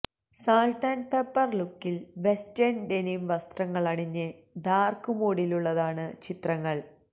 salt and pepper ലുക്കില് western denim വസ്ത്രങ്ങളണിഞ്ഞ് dark മൂഡിലുള്ളതാണ് ചിത്രങ്ങള്